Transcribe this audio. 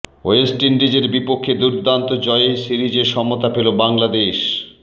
West ইন্ডিজের বিপক্ষে দুর্দান্ত জয়ে সিরিজে সমতা পেল বাংলাদেশ